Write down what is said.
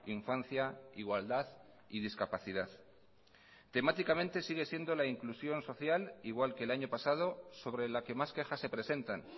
infancia igualdad y discapacidad temáticamente sigue siendo la inclusión social igual que el año pasado sobre la que más quejas se presentan